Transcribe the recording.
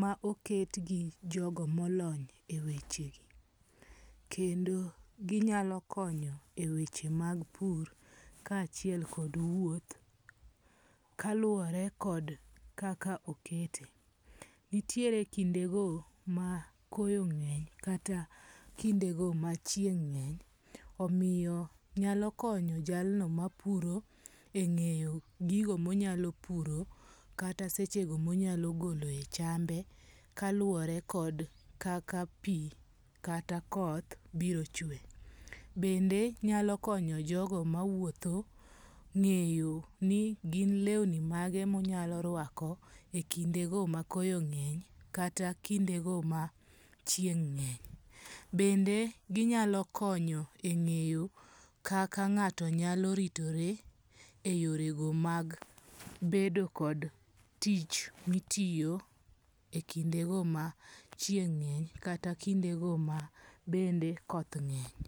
ma oket gi jogo molony e weche gi. Kendo ginyalo konyo e weche mag pur ka achiel kod wuoth kaluwore kod kaka okete. Nitiere kinde go ma koyo ng'eny kata kinde go ma chieng' ng'eny omiyo nyalo konyo jalno mapuro e ng'eyo gigo monyalo puro kata seche go monyalo goloe echambe kaluwore kod kaka pi kata koth biro chwe. Bende nyalo konyo jogo mawuotho ng'eyo ni gin lewni mage monyalo rwako e kinde go ma koyo ng'eny kata kinde go ma chieng' ng'eny. Bende ginyalo konyo e ng'eyo kaka ng'ato nyalo ritore e yore go mag bedo kod tich mitiyo e kinde go ma chieng' ng'eny kata kinde go bende koth ng'eny.